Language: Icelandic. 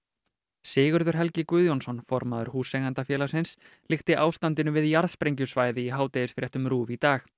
Sigurður Helgi Guðjónsson formaður Húseigendafélagsins líkti ástandinu við jarðsprengjusvæði í hádegisfréttum RÚV í dag